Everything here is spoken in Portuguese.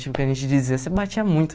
Tipo, a gente dizia, você batia muito.